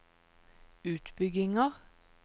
utbygginger